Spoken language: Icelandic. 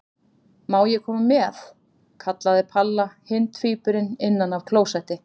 Má ég koma með? kallaði Palla hinn tvíburinn innan af klósetti.